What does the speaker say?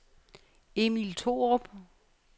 Emil Thorup